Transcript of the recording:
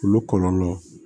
Olu kɔlɔlɔ